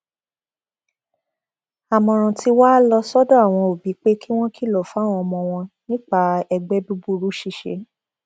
àmọràn tí wàá lọ sọdọ àwọn òbí pé kí wọn kìlọ fáwọn ọmọ wọn nípa ẹgbẹ búburú ṣíṣe